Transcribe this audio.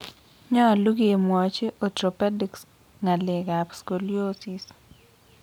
Nyolu any kemwachi Orthopedics ngalek ap scoliosis.